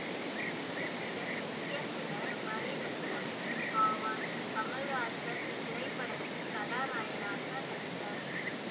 இதன் இயக்குனர் மணிரத்னம் ஆவார் கமலஹாசன் இத்திரைப்படத்தின் கதாநாயகனாக நடித்தார்